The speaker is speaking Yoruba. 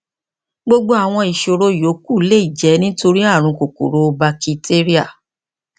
gbogbo àwọn ìṣòro yòókù lè jẹ nítorí ààrùn kòkòrò bakitéríà